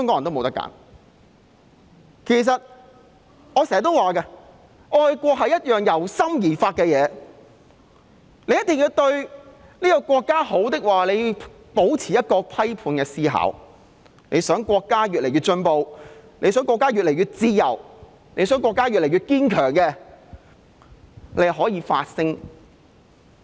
我經常也說，愛國是一件由心而發的事情，想國家好，便要保持批判思考；想國家越來越進步，想國家越來越自由，想國家越來越堅強，便要發聲。